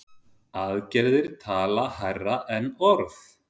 Aðgerðir tala hærra en orð.